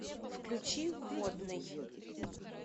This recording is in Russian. включи водный